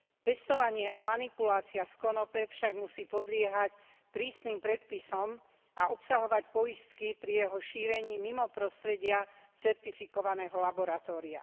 Pestovanie a manipulácia s konope však musí podliehať prísnym predpisom a obsahovať poistky pri jeho šírení mimo prostredia certifikovaného laboratória.